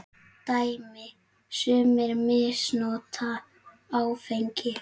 Dæmi: Sumir misnota áfengi.